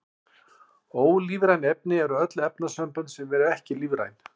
Ólífræn efni eru öll efnasambönd sem eru ekki lífræn.